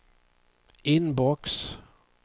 inbox